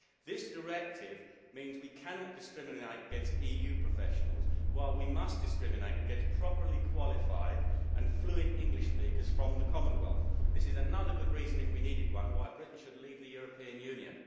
This directive means we cannot discriminate against EU professionals, while we must discriminate against properly qualified fluent English speakers from the Commonwealth. This is another good reason, if we needed one, why Britain should leave the European Union.